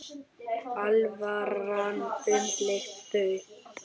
Alvaran umlukti þau.